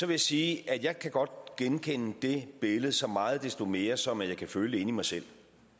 jeg sige at jeg kan godt genkende det billede så meget desto mere som jeg kan føle i mig selv